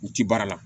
U ti baara la